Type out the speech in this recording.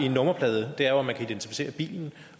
en nummerplade er jo at man kan identificere bilen